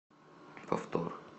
повтор